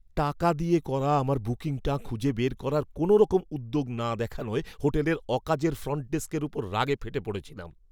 টাকা দিয়ে করা আমার বুকিংটা খুঁজে বের করার কোনওরকম উদ্যোগ না দেখানোয় হোটেলের অকাজের ফ্রন্ট ডেস্কের ওপর রাগে ফেটে পড়েছিলাম।